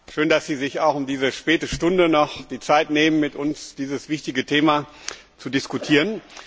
Schön, dass Sie sich auch um diese späte Stunde noch die Zeit nehmen, mit uns dieses wichtige Thema zu diskutieren.